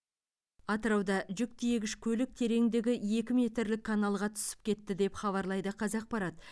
атырауда жүк тиегіш көлік тереңдігі екі метрлік каналға түсіп кетті деп хабарлайды қазақпарат